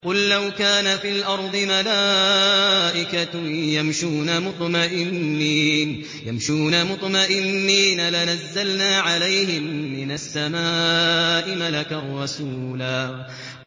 قُل لَّوْ كَانَ فِي الْأَرْضِ مَلَائِكَةٌ يَمْشُونَ مُطْمَئِنِّينَ لَنَزَّلْنَا عَلَيْهِم مِّنَ السَّمَاءِ مَلَكًا رَّسُولًا